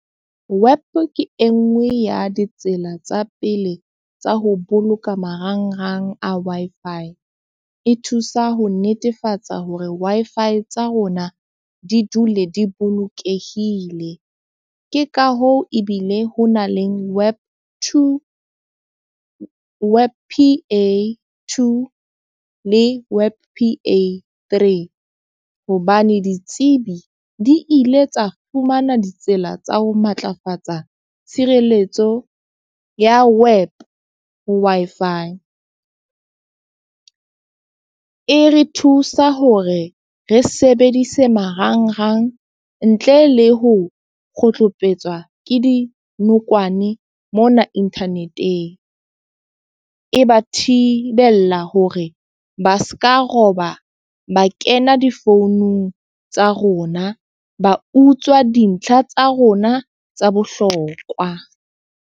WEP ke e nngwe ya ditsela tsa pele tsa ho boloka marangrang a Wi-Fi. E thusa ho netefatsa hore Wi-Fi tsa rona di dule di bolokehile. Ke ka hoo ebile ho na le WEP two, WEP P_A two le WEP P_A three. Hobane ditsebi di ile tsa fumana ditsela tsa ho matlafatsa tshireletso ya WEP ho Wi-Fi. E re thusa hore re sebedise marangrang ntle le ho kgotlopetswa ke di nokwane mona internet-eng. E ba thibella hore ba seka roba ba kena difounung tsa rona, ba utswa dintlha tsa rona tsa bohlokwa.